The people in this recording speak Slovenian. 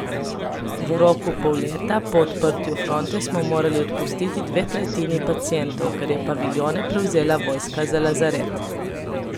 V roku pol leta po odprtju fronte smo morali odpustiti dve tretjini pacientov, ker je paviljone prevzela vojska za lazaret.